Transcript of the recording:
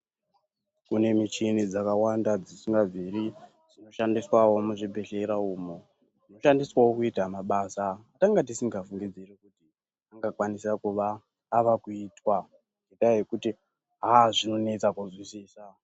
Kune muchini dzakawanda dzisingabviri kushandiswa wo muzvibhedhlera umu kushandiswawo kuita mabasa atanga tisingafungidziri anga kwanisa avakuitwa aya ekuti aa zvinonesa kuzwisisa.